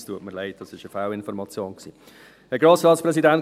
Es tut mir leid, das war eine Fehlinformation.